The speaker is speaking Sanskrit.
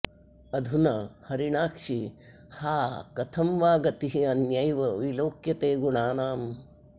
अधुना हरिणाक्षि हा कथं वा गतिरन्यैव विलोक्यते गुणानाम्